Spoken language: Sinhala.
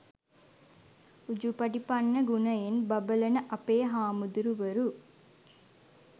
උජුපටිපන්න ගුණයෙන් බබළන අපේ හාමුදුරුවරු